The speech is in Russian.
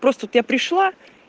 просто тут я пришла